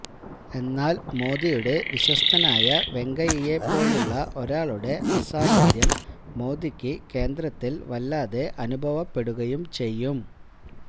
എന്നാല് മോദിയുടെ വിശ്വസ്തനായ വെങ്കയ്യയെ പോലുള്ള ഒരാളുടെ അസാന്നിധ്യം മോദിക്ക് കേന്ദ്രത്തില് വല്ലാതെ അനുഭവപ്പെടുകയും ചെയ്യും